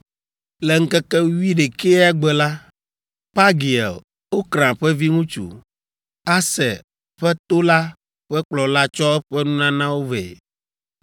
Le ŋkeke wuiɖekɛa gbe la, Pagiel, Okran ƒe viŋutsu, Aser ƒe to la ƒe kplɔla tsɔ eƒe nunanawo vɛ.